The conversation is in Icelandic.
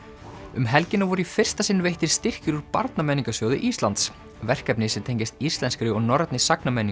um helgina voru í fyrsta sinn veittir styrkir úr Íslands verkefni sem tengjast íslenskri og norrænni